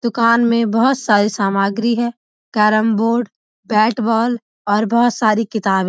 दुकान में बहुत सारी सामग्री है कैरम बोर्ड और बहुत सारी किताबें --